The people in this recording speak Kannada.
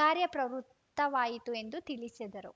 ಕಾರ‍್ಯಪ್ರವೃತ್ತವಾಯಿತು ಎಂದು ತಿಳಿಸಿದರು